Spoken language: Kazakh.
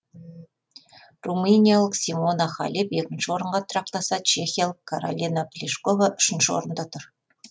румыниялық симона халеп екінші орынға тұрақтаса чехиялық каролина плишкова үшінші орында тұр